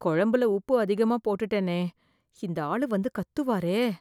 குழம்புல உப்பு அதிகமா போட்டுட்டேனே இந்த ஆளு வந்து கத்துவாரே!